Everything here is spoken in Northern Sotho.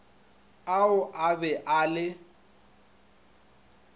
ao a be a le